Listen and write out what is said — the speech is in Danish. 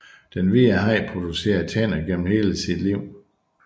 Den hvide haj producerer tænder gennem hele sit liv